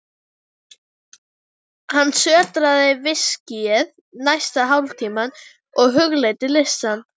Hann sötraði viskíið næsta hálftímann og hugleiddi listann.